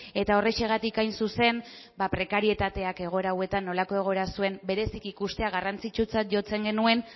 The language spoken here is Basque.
eta horrexegatik hain zuzen ba prekarietateak egoera hauetan nolako egoera zuen bereziki ikustea garrantzitsutzat jotzen genuen